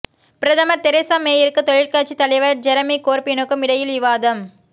பிரதமர் தெரேசா மேயிற்கும் தொழிற்கட்சித் தலைவர் ஜெரமி கோர்பினுக்கும் இடையில் விவாதம்